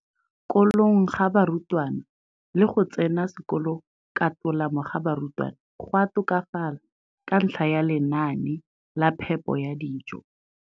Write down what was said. kolong ga barutwana le go tsena sekolo ka tolamo ga barutwana go a tokafala ka ntlha ya lenaane la phepo ya dijo.